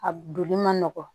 A donli man nɔgɔn